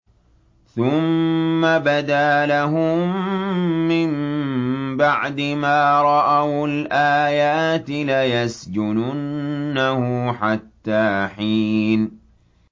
ثُمَّ بَدَا لَهُم مِّن بَعْدِ مَا رَأَوُا الْآيَاتِ لَيَسْجُنُنَّهُ حَتَّىٰ حِينٍ